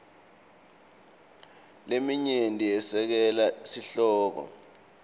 leminyenti yesekela sihloko